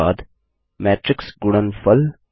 उसके बाद मैट्रिक्स गुणनफल